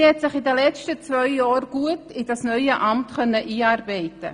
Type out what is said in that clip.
Sie konnte sich während der letzten beiden Jahre gut in dieses neue Amt einarbeiten.